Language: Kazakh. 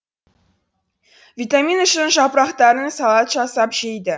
витамин үшін жапырақтарын салат жасап жейді